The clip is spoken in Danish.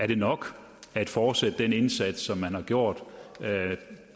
det nok at fortsætte den indsats som man har gjort